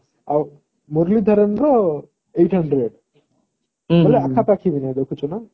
ହଁ ଆଉ ମୂରଲୀ ଧରାନ ରeight hundred ବୋଇଲେ ଆଖା ପାଖି ବି ନାହିଁ ଦେଖୁଚୁ ନା